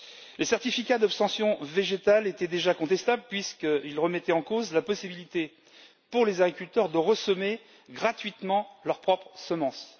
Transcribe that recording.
Les certificats d'obtention végétale étaient déjà contestables puisqu'ils remettaient en cause la possibilité pour les agriculteurs de ressemer gratuitement leurs propres semences.